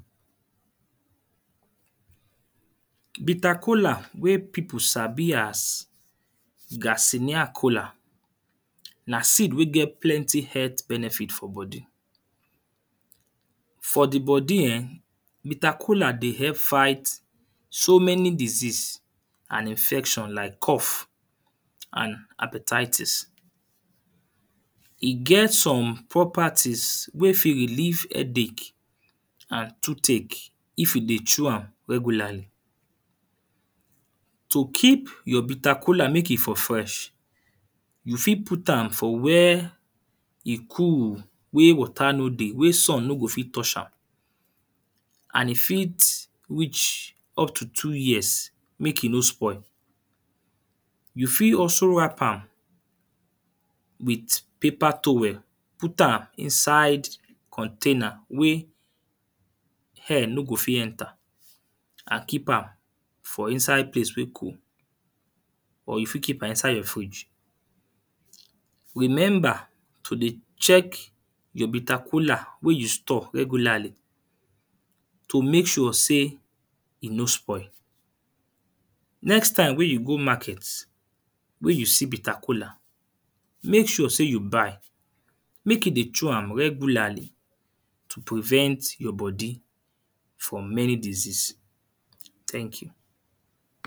Bitter kola wey people sabi as garcinia kola. Na seed wey get plenty health benefit for body. For the body ern bitter kola dey help fight so many disease and infection like cough and hepatitis. E get some properties wey fit relieve headache and toothache if you dey chew am regularly. To keep your bitter kola make e for fresh, you fit put am for where e cool, where water no dey wey sun no go fit touch am. And e fit reach up to two years make e no spoil. You fit also wrap am with paper towel. Put am inside container wey air no go fit enter. And keep am for inside place wey cool or you fit keep am inside your fridge. Remember to dey check your bitter kola wey you store regularly To make sure sey e no spoi. Next time wey you go market when you see bitter kola, make sure sey you buy. Make you dey chew am regularly to prevent your body from many disease. mhn Thank you.